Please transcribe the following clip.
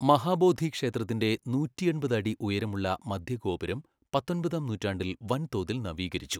മഹാബോധി ക്ഷേത്രത്തിന്റെ നൂറ്റിഎൺപത് അടി ഉയരമുള്ള മധ്യ ഗോപുരം പത്തൊൻപതാം നൂറ്റാണ്ടിൽ വൻതോതിൽ നവീകരിച്ചു.